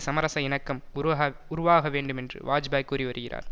சமரச இணக்கம் உருக உருவாக வேண்டுமென்று வாஜ்பாய் கூறி வருகிறார்